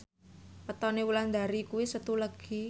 wetone Wulandari kuwi Setu Legi